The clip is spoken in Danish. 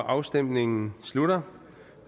afstemningen slutter